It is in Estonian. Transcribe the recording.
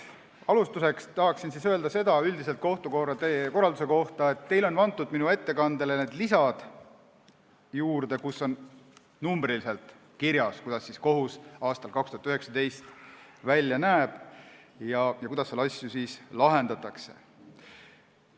Alustuseks tahan öelda üldiselt kohtukorralduse kohta, et teile on antud minu ettekandele juurde lisad, kus on numbriliselt kirjas, kuidas kohus aastal 2019 välja näeb ja kuidas seal asju lahendatakse.